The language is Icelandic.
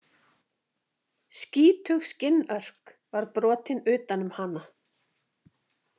Skítug skinnörk var brotin utan um hana.